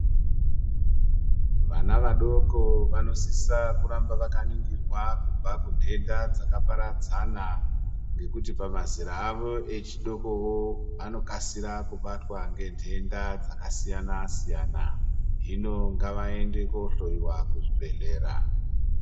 Vana vadoko vanosisa kuramba vakaningirwa kubva kunhenda dzakaparadza ngekuti pama zera avo echidokowo vanokasira kubatwa ngenhenda dzakasiyana siyana hino ngavaende kohloiwa kuzvibhehlera.